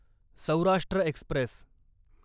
Saurashtra Express